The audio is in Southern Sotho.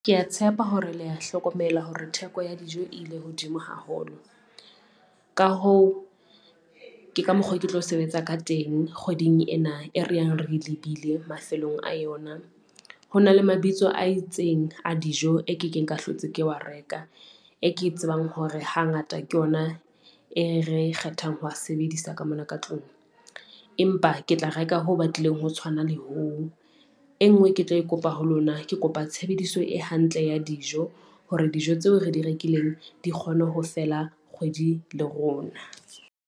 Ke a tshepa hore le ya hlokomela hore theko ya dijo e ile hodimo haholo. Ka hoo, ke ka mokgo ke tlo sebetsa ka teng kgweding ena e re yang re lebile mafelong a yona, ho na le mabitso a itseng a dijo e ke keng ka hlotse ke wa reka e ke tsebang hore hangata ke ona e re kgethang ho a sebedisa ka mona ka tlung. Empa ke tla reka ho batlileng ho tshwana le hoo, e ngwe ke tlo e kopa ho lona. Ke kopa tshebediso e hantle ya dijo hore dijo tseo re di rekileng di kgone ho fela kgwedi le rona.